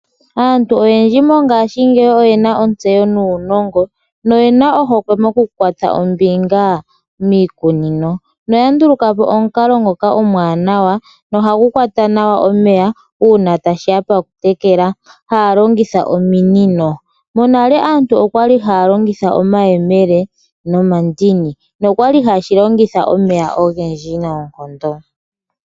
Aantu oyendji mongashi ngeyi oyena otseyo nunongo noyena ohokwe mokukutha ombinga mikunino, noya ndulukapo omunkalo ngoka omwanawa nohangu kwata nawa omeya una tashiya pakutekela halongitha ominino. Monale aantu okwali halongitha omayemele nomandini nokwali hashilongitha omeya ongendji noonkondo.